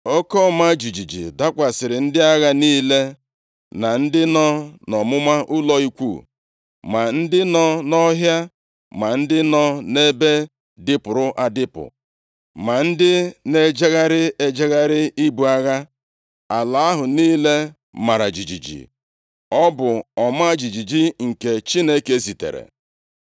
Oke ọma jijiji dakwasịrị ndị agha niile, na ndị nọ nʼọmụma ụlọ ikwu, ma ndị nọ nʼọhịa, ma ndị nọ nʼebe dịpụrụ adịpụ, ma ndị na-ejegharị ejegharị ibu agha. Ala ahụ niile mara jijiji. Ọ bụ ọma jijiji nke Chineke zitere.